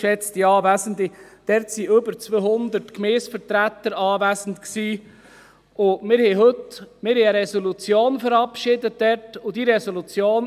Geschätzte Anwesende, dort waren über 200 Gemeindevertreter anwesend, und wir verabschiedeten dort eine Resolution.